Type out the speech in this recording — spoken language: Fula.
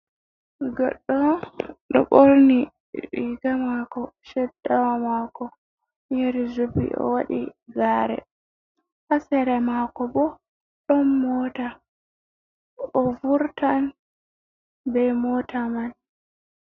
Goɗɗo ɗo ɓorni riga mako sheddawa mako yari jubi o wadi gare, ha sere mako bo ɗon mota, o vurtan be mota man.